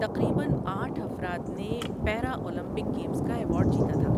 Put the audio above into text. تقریباً آٹھ افراد نے پیرا اولمپک گیمز کا ایوارڈ جیتا تھا۔